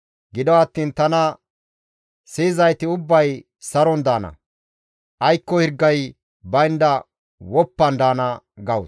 Gido attiin tana siyizayti ubbay saron daana; aykko hirgay baynda woppan daana» gawus.